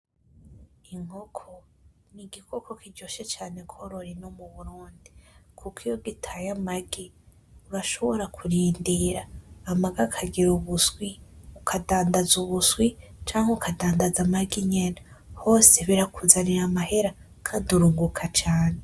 Inkoko n'igikoko kiryoshe cane korora ino mu Burundi, kuko iyo gitaye amagi urashobora kurindira amagi akagira ubuswi, ukadandaza ubuswi; canke ukadandaza amagi nyene, hose birakuzanira amahera kandi urunguka cane.